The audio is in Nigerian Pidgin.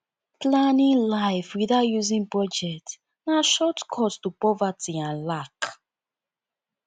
planning life without using budget na shortcut to poverty and lack